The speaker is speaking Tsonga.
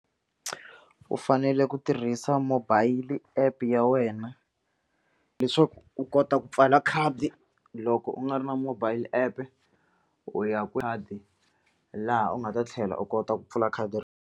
U fanele ku tirhisa mobile app ya wena leswaku u kota ku pfala khadi loko u nga ri na mobile app u ya khadi laha u nga ta tlhela u kota ku pfula khadi ri.